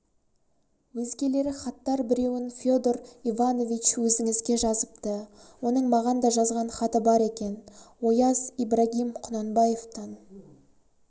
өзгелері хаттар біреуін федор иванович өзіңізге жазыпты оның маған да жазған хаты бар екен ояз ибрагим құнанбаевтан